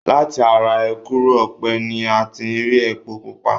Láti ara èkùrọ́ ọ̀pẹ ni a ti rí epo pupa.